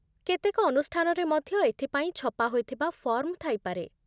କେତେକ ଅନୁଷ୍ଠାନରେ ମଧ୍ୟ ଏଥିପାଇଁ ଛପା ହୋଇଥିବା ଫର୍ମ ଥାଇପାରେ